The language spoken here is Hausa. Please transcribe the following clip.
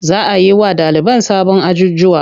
Za a yi wa ɗaliban sabon ajjujuwa.